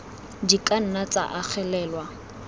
di ka nna tsa agelelwa